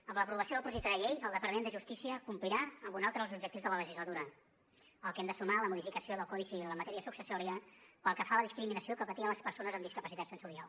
amb l’aprovació del projecte de llei el departament de justícia complirà amb un altre dels objectius de la legislatura al que hem de sumar la modificació del codi civil en matèria successòria pel que fa a la discriminació que patien les persones amb discapacitat sensorial